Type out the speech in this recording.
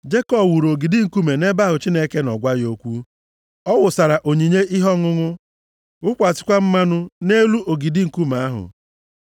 Jekọb wuru ogidi nkume nʼebe ahụ Chineke nọ gwa ya okwu. Ọ wụsara onyinye ihe ọṅụṅụ wụkwasịkwa mmanụ nʼelu ogidi nkume ahụ.